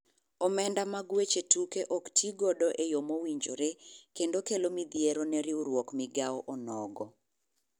Omenda mag weche tuke ok ti godo eyo mowinjore kendio kelo midhieero ne riwruok migao onogo.